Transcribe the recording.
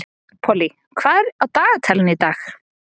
Pollý, hvað er á dagatalinu í dag?